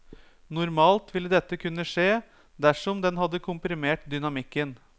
Normalt vil dette kunne skje dersom den hadde komprimert dynamikken.